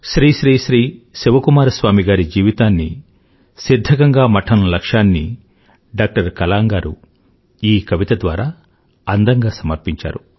శ్రీ శ్రీ శ్రీ శివ కుమార స్వామి గారి జీవితాన్నీ సిధ్ధగంగ మఠం లక్ష్యాన్నీ డాక్టర్ కలాం గారు ఈ కవిత ద్వారా అందంగా సమర్పించారు